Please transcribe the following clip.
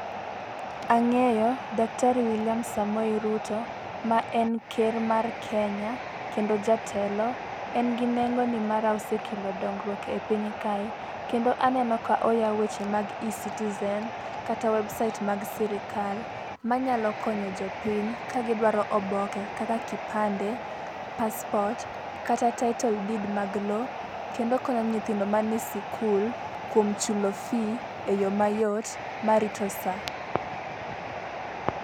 Ang'eyo daktari Wiliam Samoei Ruto ma en ker mae kenya kendo jatelo. En gi nengo nimar osekelo dongruok e piny kae kendo aneno ka oywao weche mag ecitizen kata website mag sirikal manyalo konyo jopiny ka gidwaro oboke kaka kipande, paspot kata title deed mag loo kendo konyo nyithindo mae sikul kuom chulo fee e yo mayot marito sa.